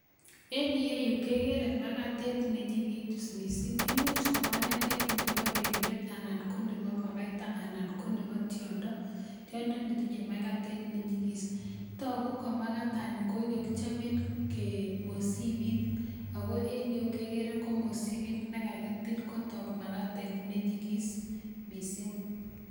Enn iyeyu kekere makatet nenyikis mising, imuch ko makatet nebo belyot anan ko nebo makaita ana ko nebo tiondo netinyei makatet nenyigis. Togu ko makatani kokikakichaben mosibit Ako en iyeyu kekere komosibit nekakitil kotok makatetnwnyikis mising